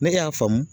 Ne y'a faamu